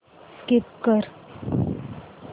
skip कर